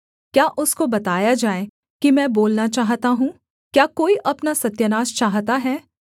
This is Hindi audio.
क्या उसको बताया जाए कि मैं बोलना चाहता हूँ क्या कोई अपना सत्यानाश चाहता है